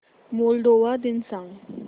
Moldova दिन सांगा